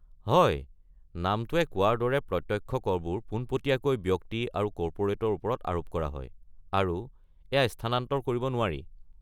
হয়, নামটোৱে কোৱাৰ দৰে প্ৰত্যক্ষ কৰবোৰ পোনপটীয়াকৈ ব্যক্তি আৰু কৰ্পোৰেটৰ ওপৰত আৰোপ কৰা হয় আৰু এইয়া স্থানান্তৰ কৰিব নোৱাৰি।